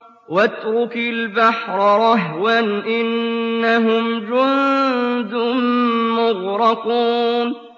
وَاتْرُكِ الْبَحْرَ رَهْوًا ۖ إِنَّهُمْ جُندٌ مُّغْرَقُونَ